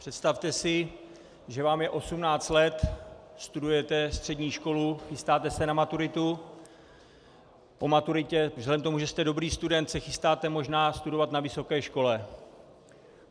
Představte si, že vám je 18 let, studujete střední školu, chystáte se na maturitu, po maturitě vzhledem k tomu, že jste dobrý student, se chystáte možná studovat na vysoké škole.